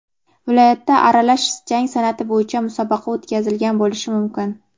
viloyatda aralash jang san’ati bo‘yicha musobaqa o‘tkazilgan bo‘lishi mumkin.